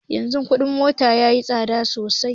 Yanzu kuɗin mota yayi tsada sosai